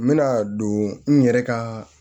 N bɛna don n yɛrɛ ka